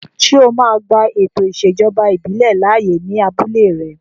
Ṣé o máa gba ètò ìṣèjọba ìbílẹ̀ láàyè ní abúlé rẹ?